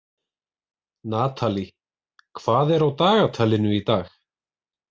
Natalí, hvað er á dagatalinu í dag?